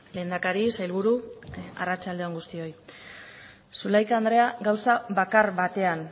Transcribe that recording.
lehendakari sailburu arratsalde on guztioi zulaika andrea gauza bakar batean